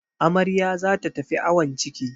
Amarya za ta tafi awon ciki.